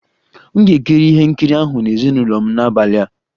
M ga-ekiri ihe nkiri ahụ na ezinụlọ m n'abalị a